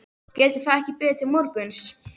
Getur það ekki beðið til morguns?